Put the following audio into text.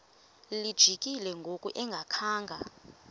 lijikile ngoku engakhanga